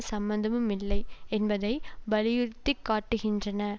சம்மந்தமுமில்லை என்பதை வலியுறுத்திக்காட்டுகின்றன